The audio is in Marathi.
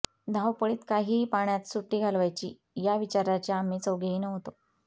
धावपळीत काहीही पाहण्यात सुट्टी घालवायची या विचाराचे आम्ही चौघेही नव्हतो